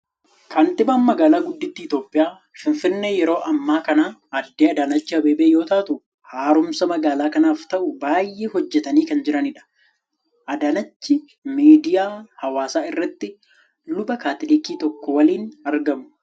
Kantiibaan magaalaa guddittii Itoophiyaa, Finfinnee yeroo ammaa kana Aadde Adaanechi Abeebee yoo taatu, haara'umsa magaalaa kanaaf ta'u baay'ee hojjetanii kan jiranidha. Adaanechi miidiyaa Hawaasaa irratti luba kaatilikii tokko waliin argamu.